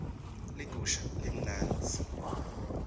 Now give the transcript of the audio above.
ligusha limnandzi